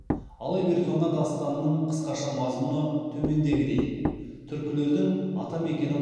алып ер тоңа дастанының қысқаша мазмұны төмендегідей түркілердің ата мекені